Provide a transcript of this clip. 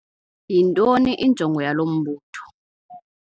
Yintoni injongo yalo mbutho?